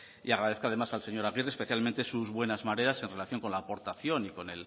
agradezco además al señor aguirre sus buenas mareas en relación con la aportación y con